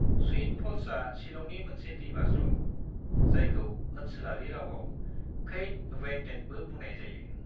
Sweet फल्सआ शिलंनि मोनसे दैबाज्रुम, जायखौ ओनसोलारि रावाव क्षैद वेइटडेनबो बुंनाय जायो।